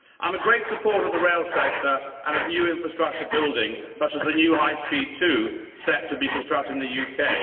I am a great supporter of the rail sector and of new infrastructure building, such as the new High Speed 2 set to be constructed in the UK.